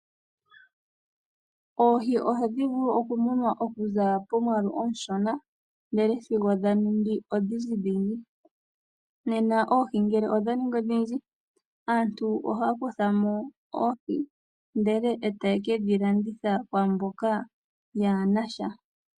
Oohi ohadhi vulu oku munwa okuza pomwaalu omushona ndele sigo dha ningi odhindji dhindji. Nena oohi ngele odha ningi odhindji, aantu ohaya kuthamo oohili ndele eta ye kedhi landitha kwaamboka yaa nasha.